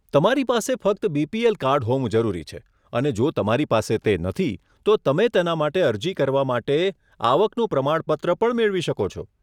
તમારી પાસે ફક્ત બીપીએલ કાર્ડ હોવું જરૂરી છે અને જો તમારી પાસે તે નથી, તો તમે તેના માટે અરજી કરવા માટે આવકનું પ્રમાણપત્ર પણ મેળવી શકો છો.